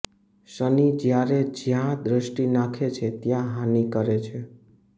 શનિ જયારે જયાં દષ્ટિ નાખે છે ત્યાં હાનિ કરે છે